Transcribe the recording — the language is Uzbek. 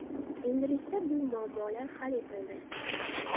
Endilikda bu muammolar hal etildi.